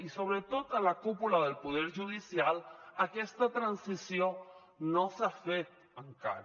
i sobretot a la cúpula del poder judicial aquesta transició no s’ha fet encara